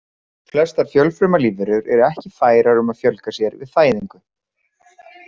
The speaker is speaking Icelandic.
Flestar fjölfruma lífverur eru ekki færar um að fjölgað sér við fæðingu.